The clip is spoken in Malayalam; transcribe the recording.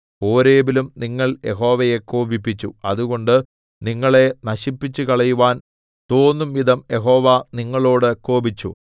ഹോരേബിലും നിങ്ങൾ യഹോവയെ കോപിപ്പിച്ചു അതുകൊണ്ട് നിങ്ങളെ നശിപ്പിച്ചുകളയുവാൻ തോന്നും വിധം യഹോവ നിങ്ങളോട് കോപിച്ചു